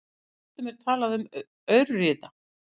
Stundum er talað um aurriða.